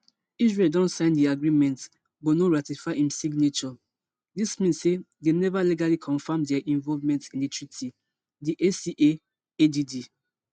israel don sign di agreement but no ratify im signature dis mean say dem neva legally confam dia involvement in di treaty di aca add